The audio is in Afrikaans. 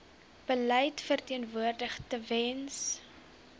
beleid verteenwoordig tewens